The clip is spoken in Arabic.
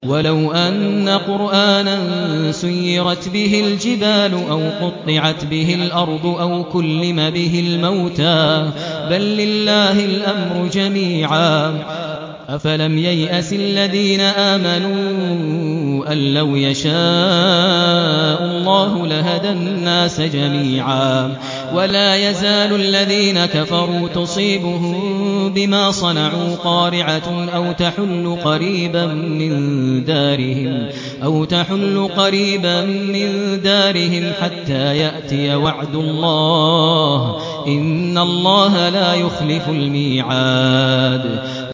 وَلَوْ أَنَّ قُرْآنًا سُيِّرَتْ بِهِ الْجِبَالُ أَوْ قُطِّعَتْ بِهِ الْأَرْضُ أَوْ كُلِّمَ بِهِ الْمَوْتَىٰ ۗ بَل لِّلَّهِ الْأَمْرُ جَمِيعًا ۗ أَفَلَمْ يَيْأَسِ الَّذِينَ آمَنُوا أَن لَّوْ يَشَاءُ اللَّهُ لَهَدَى النَّاسَ جَمِيعًا ۗ وَلَا يَزَالُ الَّذِينَ كَفَرُوا تُصِيبُهُم بِمَا صَنَعُوا قَارِعَةٌ أَوْ تَحُلُّ قَرِيبًا مِّن دَارِهِمْ حَتَّىٰ يَأْتِيَ وَعْدُ اللَّهِ ۚ إِنَّ اللَّهَ لَا يُخْلِفُ الْمِيعَادَ